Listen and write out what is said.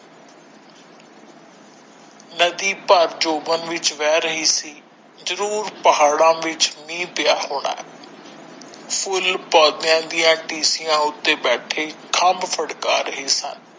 ਨਦੀ ਭਰ ਜੁਬਾਨ ਵਿੱਚ ਬਹਿ ਰਹੀ ਸੀ ਜਰੂਰ ਪਹਾੜਾ ਵਿੱਚ ਮੀਹ ਪਾਇਆ ਹੋਣਾ ਫੁੱਲ ਦੀਆ ਟੀਸੀਆਂ ਉੱਤੇ ਬੈਠੇ ਫੜਕਾ ਰਹਿ ਸਨ।